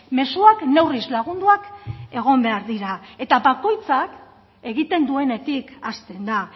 mezuak neurriz lagunduak egon behar dira eta bakoitzak egiten duenetik hasten da